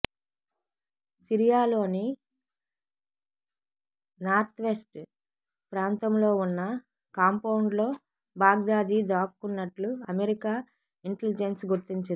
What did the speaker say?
సిరియాలోని northwest ప్రాంతంలో ఉన్న కాంపౌండ్లో బాగ్దాది దాక్కున్నట్లు అమెరికా ఇంటెలిజెన్స్ గుర్తించింది